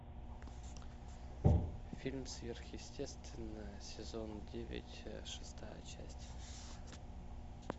фильм сверхъестественное сезон девять шестая часть